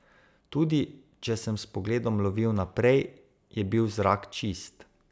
Tudi če sem s pogledom lovil naprej, je bil zrak čist.